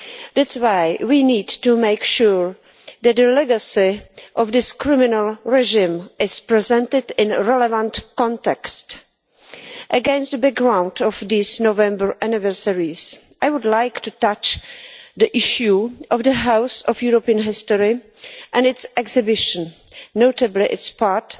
That is why we need to make sure that the legacy of this criminal regime is presented in a relevant context. Against the background of these November anniversaries, I would like to touch on the issue of the House of European History and its exhibition, notably the part